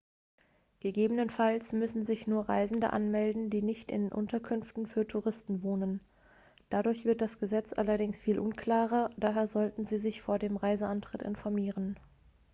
gegebenenfalls müssen sich nur reisende anmelden die nicht in unterkünften für touristen wohnen dadurch wird das gesetz allerdings viel unklarer daher sollten sie sich vor dem reiseantritt informieren